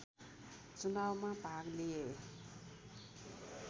चुनावमा भाग लिए